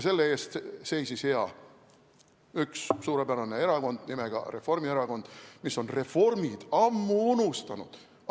Selle eest seisis hea üks suurepärane erakond nimega Reformierakond, mis on reformid ammu unustanud.